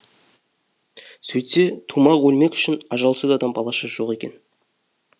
сөйтсе тумақ өлмек үшін ажалсыз адам баласы жоқ екен